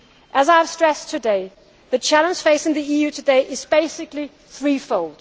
a time. As I have stressed today, the challenge facing the EU today is basically threefold.